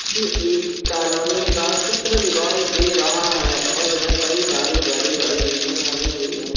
ये एक कालोनी का चित्र दिखाई दे रहा है और इधर कई सारी बड़ी-बड़ी बिल्डिंग बनी हुई हैं।